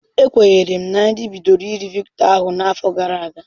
Ekwenyere m na nri bidoro iri Victor ahụ n'afọ gara aga.